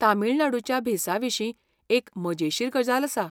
तमिळनाडुच्या भेसाविशीं एक मजेशीर गजाल आसा.